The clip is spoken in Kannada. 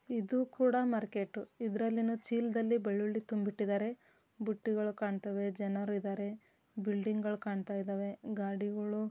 ಇದು ಕೂಡ ಮಾರ್ಕೆಟ್ ಇದರಲ್ಲಿ ಏನೋ ಚೀಲದಲ್ಲಿ ಬೆಳ್ಳುಳ್ಳಿ ತುಂಬಿ ಇಟ್ಟಿದಾರೆ. ಬುಟ್ಟಿಗಳು ಕಾಣ್ತಿವೆ ಜನರು ಇದಾರೆ ಬಿಲ್ಡಿಂಗ್ ಗಳು ಕಾಣುತ್ತಾಇದವೇ ಗಾಡಿಗಳು--